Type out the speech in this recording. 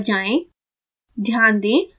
plot window पर जाएँ